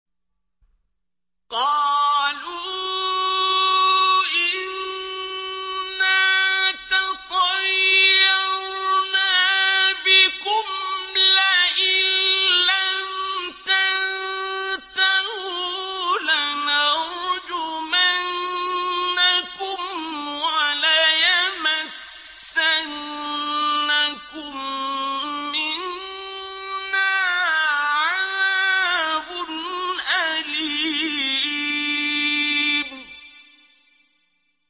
قَالُوا إِنَّا تَطَيَّرْنَا بِكُمْ ۖ لَئِن لَّمْ تَنتَهُوا لَنَرْجُمَنَّكُمْ وَلَيَمَسَّنَّكُم مِّنَّا عَذَابٌ أَلِيمٌ